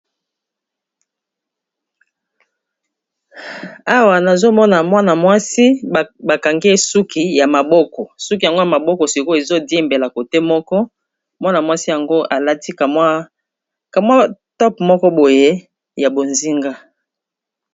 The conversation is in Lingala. Awa nazomona mwana mwasi bakangi ye suki ya maboko suki yango ya maboko sikoyo ezo diembela cote moko mwana mwasi yango alati kamwa tope moko boye ya bozinga.